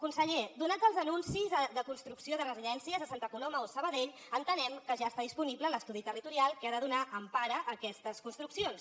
conseller donats els anuncis de construcció de residències a santa coloma o sabadell entenem que ja està disponible l’estudi territorial que ha de donar empara a aquestes construccions